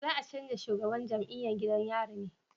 Za a canja shugaban jam'iyan gidan yari ne?